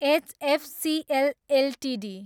HFCL Ltd